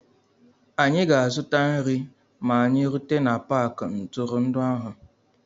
Anyị ga-azụta nri ma anyị rute na paakị ntụrụndụ ahụ.